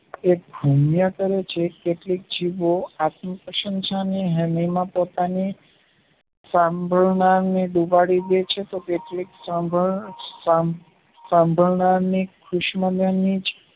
એક ઘૂમ્યા કરે છે કેટલીકે જીભો આત્મ પ્રશંશા ને પોતાની સાંભળનારને ડૂબાડી ડેયી છે સાંભળનારને